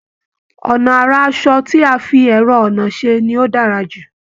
Ọnà ara aṣọ tí a fi ẹ̀rọ-ọnà ṣe ni ó dára jù